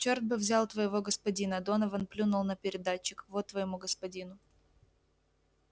черт бы взял твоего господина донован плюнул на передатчик вот твоему господину